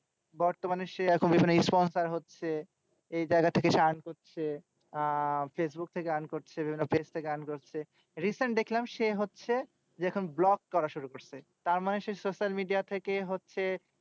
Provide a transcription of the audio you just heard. বর্তমানে সে এখন sponsor হচ্ছে এই জায়গা থেকে হচ্ছে আহ ফেসবুক থেকে earn করছে থেকে earn করছে। recent দেখলাম সে হচ্ছে যে এখন vlog করা শুরু করছে। তারমানে সে social media থেকে হচ্ছে